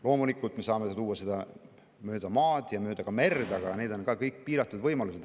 Loomulikult, me saame tuua seda mööda maad ja ka mööda merd, aga need on kõik piiratud võimalused.